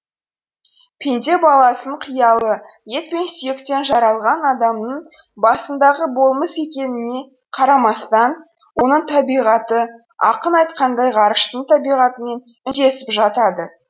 пенде баласының қиялы ет пен сүйектен жаралған адамның басындағы болмыс екеніне қарамастан оның табиғаты ақын айтқандай ғарыштың табиғатымен үндесіп жатады